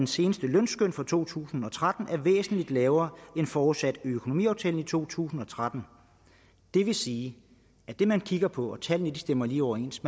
seneste lønskøn fra to tusind og tretten der er væsentlig lavere end forudsat i økonomiaftalen i to tusind og tretten det vil sige at det man kigger på og tallene stemmer lige overens